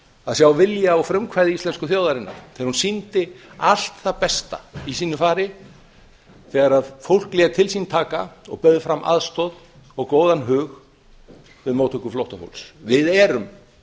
að sjá vilja og frumkvæði íslensku þjóðarinnar þegar hún sýndi allt það besta í sínu fari þegar fólk lét til sín taka og bauð fram aðstoð og góðan hug við móttöku flóttafólks við erum